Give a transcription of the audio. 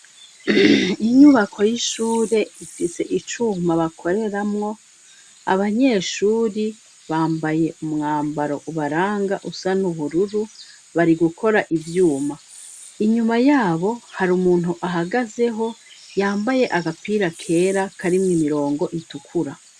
Inyubako y'ishure ifise icuma bakoreramwo abanyeshuri bambaye umwambaro ubaranga usa n'ubururu bari gukora ivyuma inyuma, yabo hari umuntu ahagazeho yambaye agapira kera karimwo imirongo itukura.